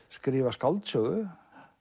skrifa skáldsögu